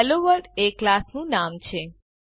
hello world એ ક્લાસનું નામ છે